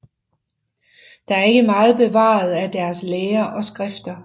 Der er ikke meget bevaret af deres lære og skrifter